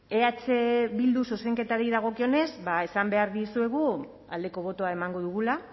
eh bilduren zuzenketari dagokionez esan behar dizuegu aldeko botoa emango dugula